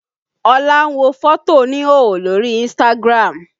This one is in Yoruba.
Olá ń wo fótò oníhòòhò lórí Instagram